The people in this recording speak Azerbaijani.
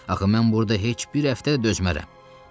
Axı mən burada heç bir həftə də dözmərəm.